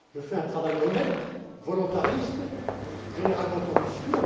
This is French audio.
je fais un travail honnête, volontariste, généralement ambitieux.